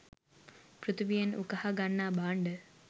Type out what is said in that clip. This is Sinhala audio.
පෘථිවියෙන් උකහා ගන්නා භාණ්ඩ